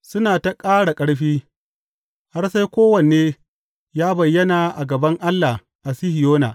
Suna ta ƙara ƙarfi, har sai kowanne ya bayyana a gaban Allah a Sihiyona.